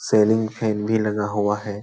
Selling fan भी लगा हुआ है।